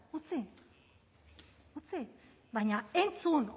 utzi baina entzun